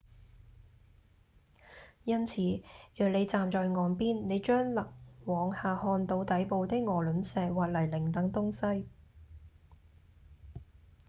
因此若你站在岸邊你將能往下看到底部的鵝卵石或泥濘等東西